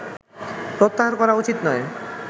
প্রত্যাহার করা উচিত নয়